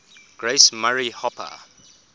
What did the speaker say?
grace murray hopper